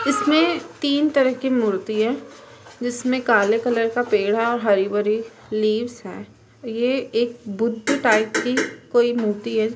इसमे तीन तरह की मूर्ति है। जिसमे काले कलर का पेड़ है और हरी भरी लिव्स है। ये एक बुद्ध टाईप की कोई मूर्ति है।